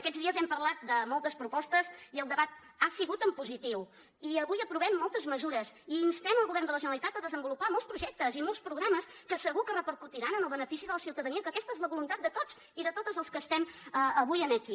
aquests dies hem parlat de moltes propostes i el debat ha sigut en positiu i avui aprovem moltes mesures i instem el govern de la generalitat a desenvolupar molts projectes i molts programes que segur que repercutiran en el benefici de la ciutadania que aquesta és la voluntat de tots i de totes els que estem avui aquí